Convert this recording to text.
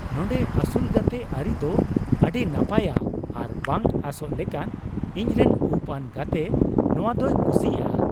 ᱱᱚᱸᱰᱮ ᱟᱹᱥᱩᱞᱼᱜᱟᱛᱮ ᱟᱹᱨᱤ ᱫᱚ ᱟᱹᱰᱤ ᱱᱟᱯᱟᱭᱼᱟ ᱟᱨ ᱵᱟᱝ ᱟᱸᱥᱚᱜ ᱞᱮᱠᱟᱱ ᱼ ᱤᱧᱨᱮᱱ ᱩᱯᱼᱟᱱ ᱜᱟᱛᱮ ᱱᱚᱶᱟ ᱫᱚᱭ ᱠᱩᱥᱤᱭᱟᱜᱼᱟ !"